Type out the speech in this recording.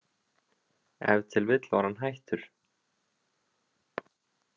Ef til vill var hann hættur.